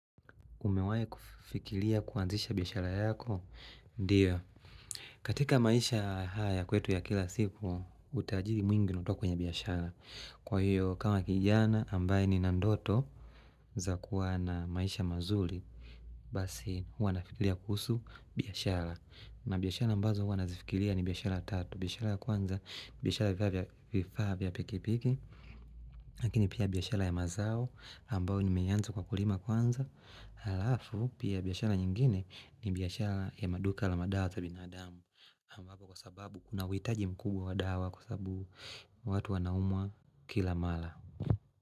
Umewai kufikilia kuanzisha biyashara yako? Ndiyo. Katika maisha haya kwetu ya kila siku, utajiri mwingi unatoka kwenye biyashara. Kwa hiyo, kama kijana ambaye ni na ndoto za maisha mazuli, basi huwa na fikilia kuhusu biyashara. Na biyashara ambazo huwana zifikilia ni biyashara tatu. Biyashara kwanza, biyashara vifaa vya pikipiki. Lakini pia biyashara ya mazao, ambao ni meyanza kwa kulima kwanza. Halafu pia biyashara nyingine ni biyashara ya maduka la madawa za binadamu ambapo kwa sababu kuna witaji mkubwa wa dawa kwa sababu watu wanaumwa kila mala.